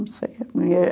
Não sei.